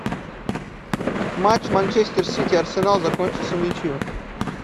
матч манчестер сити арсенал закончился в ничью